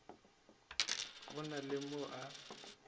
go na le mo a